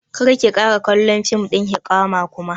Kar ki ƙara kallon fim ɗin hiƙaya kuma!